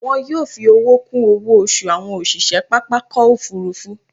Wọn yóò fi owó kún owó oṣù àwọn òṣìṣẹ́ pápákọ̀ òfúrúfú